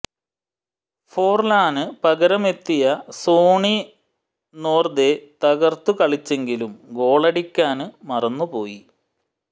ഫോര്ലാന് പകരമെത്തിയ Sony Norde തകര്ത്തു കളിച്ചെങ്കിലും ഗോളടിക്കാന് മറന്നു പോയി